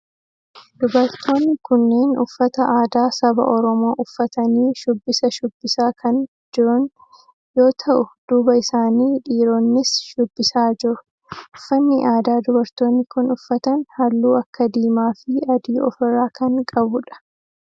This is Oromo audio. Dubartoonni kunneen uffata aadaa saba oromoo uffatanii shubbisa shubbisaa kan jirun yoo ta'u duuba isaanii dhiiroonnis shubbisaa jiru. uffanni aadaa dubartoonni kunneen uffatan halluu akka diimaa fi adii of irraa kan qabudha.